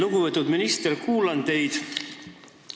Lugupeetud minister!